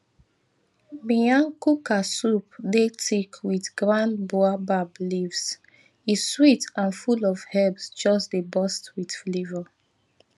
miyan kuka soup dey thick with ground baobab leaves e sweet and full of herbs just dey burst with flavor